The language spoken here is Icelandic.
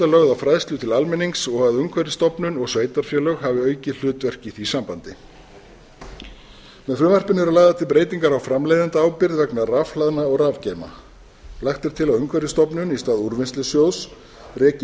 lögð á fræðslu til almennings og að umhverfisstofnun og sveitarfélög hafi aukið hlutverk í því sambandi með frumvarpinu eru lagðar til breytingar á framleiðendaábyrgð vegna rafhlaðna og rafgeyma lagt er til að umhverfisstofnun í stað úrvinnslusjóðs reki